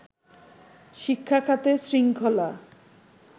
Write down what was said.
শিক্ষাখাতে শৃঙ্খলা